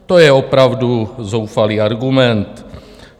To je opravdu zoufalý argument.